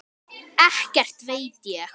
Ekkert veit ég.